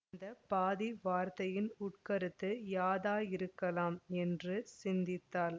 இந்த பாதி வார்த்தையின் உட்கருத்து யாதாயிருக்கலாம் என்று சிந்தித்தாள்